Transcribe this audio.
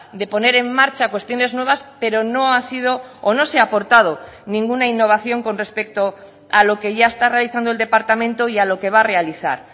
de poner en marcha cuestiones nuevas pero no ha sido o no se ha aportado ninguna innovación con respecto a lo que ya está realizando el departamento y a lo que va a realizar